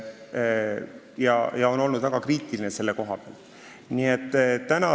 Nad on selle koha pealt väga kriitilised olnud.